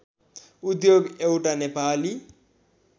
उद्योग एउटा नेपाली